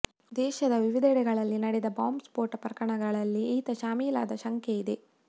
ದೇಶದ ವಿವಿಧೆಡೆಗಳಲ್ಲಿ ನಡೆದ ಬಾಂಬ್ ಸ್ಫೋಟ ಪ್ರಕರಣಗಳಲ್ಲಿ ಈತ ಶಾಮೀಲಾದ ಶಂಕೆ ಇದೆ